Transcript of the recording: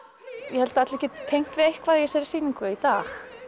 ég held að allir geti tengt við eitthvað í þessari sýningu í dag